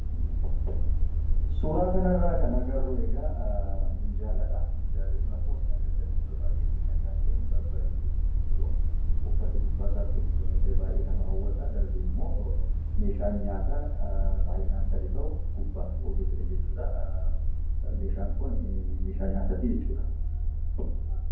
Suuraa kana irraa kan agarru, minjaaladha. Minjaalli kun akkuma isin agartan miidhagee, babbareedeetu kan jiru. Uffanni gubbaa isaatti uffifame illee baayyee nama hawwata. Darbee immoo meeshaan nyaataa baayyinaan sadii ta'u gubbaa kaawwameetudha. Meshaan Kun meeshaa nyaataati jechuudha.